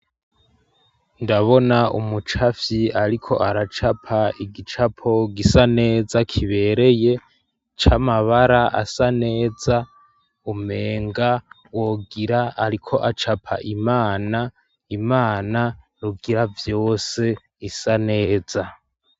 Ndabona umucafyi ariko aracapa igicapo gisa neza kibereye c'amabara asa neza umenga wogira ariko acapa imana, imana rugira vyose isa neza.